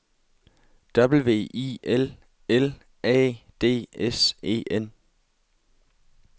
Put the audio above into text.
W I L L A D S E N